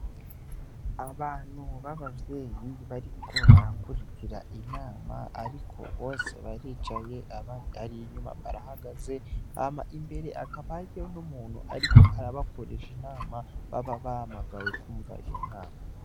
Abantu b'abavyeyi bariko barakurikira inama ariko bose baricaye, abari inyuma barahagaze. Hama imbere hakaba hariyo n'umuntu ariko arabakoresha inama, baba bahamagawe kwumva iyo nama.